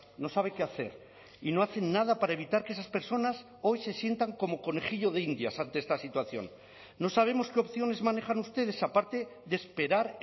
no sabe qué hacer y no hacen nada para evitar que esas personas hoy se sientan como conejillo de indias ante esta situación no sabemos qué opciones manejan ustedes aparte de esperar